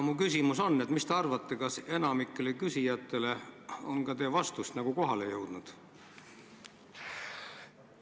Mis te arvate, kas enamikule küsijatele on teie vastused kohale jõudnud?